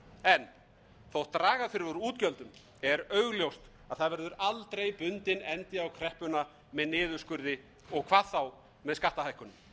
en þótt draga þurfi úr útgjöldum er augljóst að það verður aldrei bundinn endir á kreppuna með niðurskurði og hvað þá með skattahækkunum